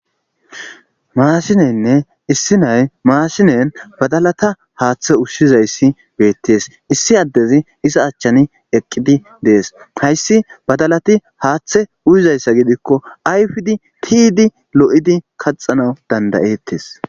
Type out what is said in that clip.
maasineynne issi nay maasinen badalata haaththe ushshizayssi beettees issi addezi isa achchani eqqidi dees hayssi badalati haaththe uyizayssa gidikko ayfidi tidi lo7idi kaxanawu dandayettes